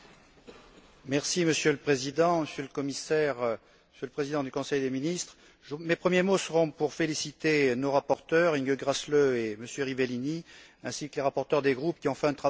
Monsieur le Président, Monsieur le Commissaire, Monsieur le Président du Conseil des ministres, mes premiers mots seront pour féliciter nos rapporteurs, Mme Gräßle et M. Rivellini, ainsi que les rapporteurs des groupes, qui ont fait un travail considérable.